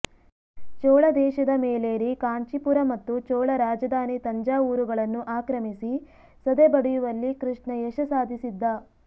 ಚೋಳ ದೇಶದ ಮೇಲೇರಿ ಕಾಂಚೀಪುರ ಮತ್ತು ಚೋಳ ರಾಜಧಾನಿ ತಂಜಾವೂರುಗಳನ್ನು ಆಕ್ರಮಿಸಿ ಸದೆಬಡಿಯುವಲ್ಲಿ ಕೃಷ್ಣ ಯಶ ಸಾಧಿಸಿದ್ದ